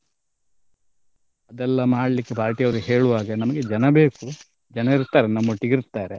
ಅದೆಲ್ಲ ಮಾಡ್ಲಿಕ್ಕೆ party ಯವರು ಹೇಳುವಾಗ ನಮ್ಗೆ ಜನ ಬೇಕು ಜನ ಇರ್ತಾರೆ ನಮ್ಮೊಟ್ಟಿಗಿರ್ತಾರೆ.